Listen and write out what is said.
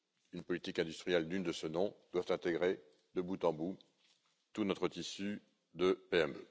une politique industrielle digne de ce nom doivent intégrer, de bout en bout, tout notre tissu de PME.